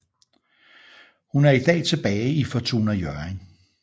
Hun er i dag tilbage i Fortuna Hjørring